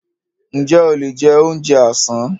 Ǹjẹ́ o lè jẹ oúnjẹ àsán?